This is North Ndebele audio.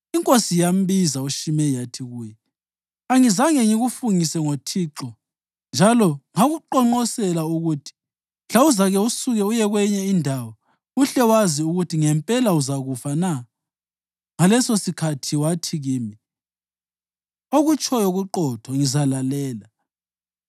inkosi yambiza uShimeyi yathi kuye, “Angizange ngikufungise ngoThixo njalo ngakuqonqonsela ukuthi, ‘Mhla uzake usuke uye kwenye indawo uhle wazi ukuthi ngempela uzakufa na?’ Ngalesosikhathi wathi kimi, ‘Okutshoyo kuqotho. Ngizalalela.’